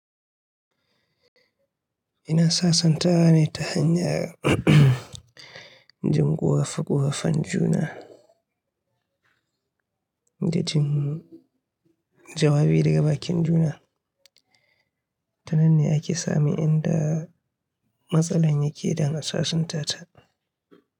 Ina sasantawa ne ta hanyar jin ƙorafe-ƙorafen juna da jin jawabi daga bakin juna. Tananne ake samin inda matsala yake daga sashen tata.